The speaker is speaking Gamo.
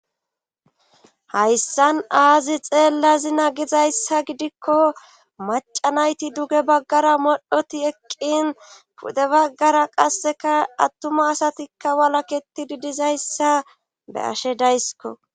hayssan aazi xeella zina gizayssa gidikko macanayti duge baggara modhoti eqqin pude baggara qasseka attuma asatikka walaketidi dizayssa be ashe daysiko